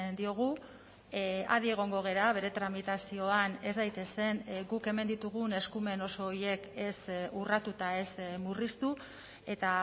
diogu adi egongo gara bere tramitazioan ez daitezen guk hemen ditugun eskumen oso horiek ez urratuta ez murriztu eta